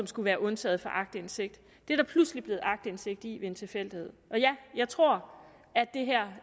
skulle være undtaget fra aktindsigt er der pludselig blevet aktindsigt i ved en tilfældighed og ja jeg tror at det her